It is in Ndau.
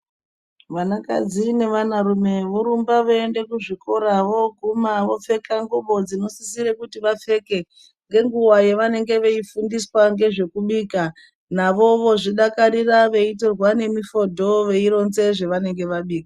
Vana kadzi ne vana rume vorumba vei enda kuzvikora voguma vopfeka ngubo dzino sisire kuti vapfeka ngenguva vanenge vei fundiswa ngezve kubika navo vozvi dakarira vei torwa nemi foto vei ronza zvavanenge vabika.